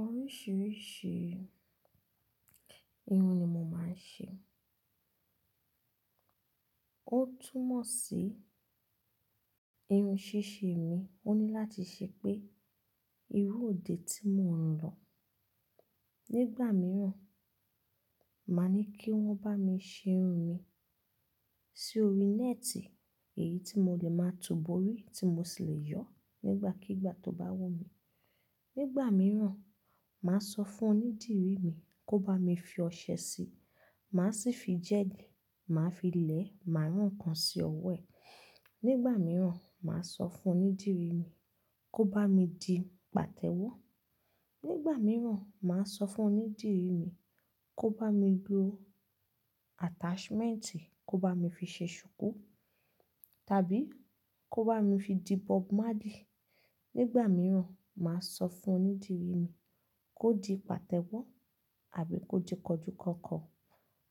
Oríṣiríṣi irun ni mo máa ń ṣe. Ó túmọ̀ sí irun ṣíṣe mi, ó ní láti ṣe pé irú òde tí mò ń lọ. Nígbà mìíràn, màá ní kí wọ́n bá mi ṣe irun mi sí orí nẹ́ẹ̀tì, èyí tí mo lè máa tibọ̀ orí tí mo sì lè yọ nígbàkígbà tó bá wù mí. Nígbà mìíràn, màá sọ fún onídìrí mi kó bá mi fi ọṣẹ síi, màá sì fi gẹ́ẹ̀lì, màá fi lẹ̀, màá rán ǹkan sí ọwọ́ ẹ̀. Nígbà mìíràn, màá sọ fún onídìrí mi kó bá mi di pàtẹ́wọ́. Nígbà mìíràn, màá sọ fún onídìrí mi kó bá mi lọ́ attachment, kó bá mi fi ṣe ṣùkú, tàbí kó bá mi fi di bob Marley. Nígbà mìíràn, màá sọ fún onídìrí mi kó di pàtẹ́wọ́, àbí kó di kọjúkọkọ,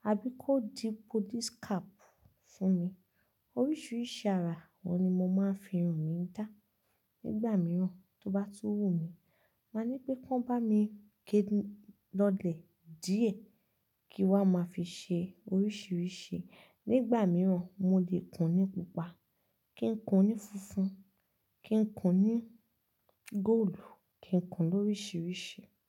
àbí kó di police cap fún mi. Oríṣiríṣi ara wọn ni mo máa ń fi irun mi dá. Nígbà mìíràn tó bá tú wù mí, màá ní pé kí wọ́n bá mi ké lọ́lẹ̀ díẹ̀ kí wa máa fi ṣe oríṣiríṣi. Nígbà mìíràn, mo lè kùn ní pupa, kí n kùn ní funfun, kí n kùn ní góòlù, kí n kùn lóríṣiríṣi.